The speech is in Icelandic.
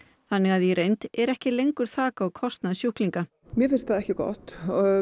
þannig að í reynd er ekki lengur þak á kostnað sjúklinga mér finnst það ekki gott